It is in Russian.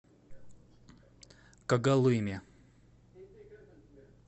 когалыме